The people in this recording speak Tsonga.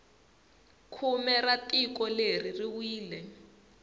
khume ra tiko leri ri wile